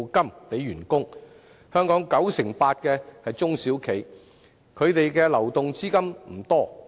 佔本港市場 98% 的中小企，流動資金不多。